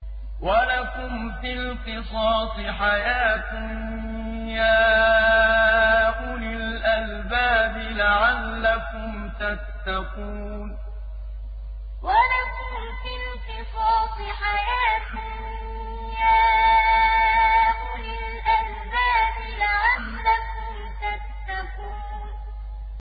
وَلَكُمْ فِي الْقِصَاصِ حَيَاةٌ يَا أُولِي الْأَلْبَابِ لَعَلَّكُمْ تَتَّقُونَ وَلَكُمْ فِي الْقِصَاصِ حَيَاةٌ يَا أُولِي الْأَلْبَابِ لَعَلَّكُمْ تَتَّقُونَ